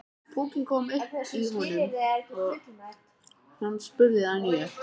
Púkinn kom upp í honum og hann spurði að nýju.